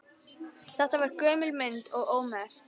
Þetta var gömul mynd og ómerkt.